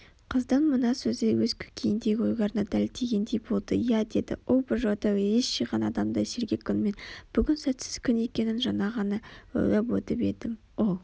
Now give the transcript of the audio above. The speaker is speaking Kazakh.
Қыздың мына сөзі өз көкейіндегі ойларына дәл тигендей болды иә деді ол бір жолата ес жиған адамдай сергек үнмен бүгін сәтсіз күн екенін жаңа ғана ойлап өтіп едім ол